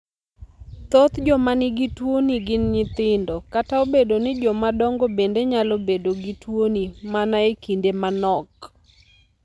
Thoth joma nigi tuoni gin nyithindo, kata obedo ni joma dongo bende nyalo bedo gi tuoni mana e kinde manok.